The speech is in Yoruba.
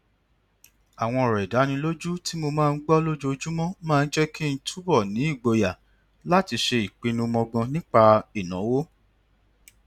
àwọn ọrọ ìdánilójú tí mo máa ń gbọ lójoojúmọ máa ń jẹ kí n túbọ ní ìgboyà láti ṣe ìpinnu mọgbọn nípa ìnáwó